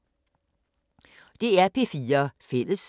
DR P4 Fælles